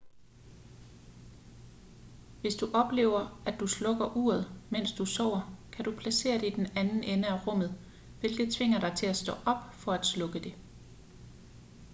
hvis du oplever at du slukker uret mens du sover kan du placere det i den anden ende af rummet hvilket tvinger dig til at stå op for at slukke det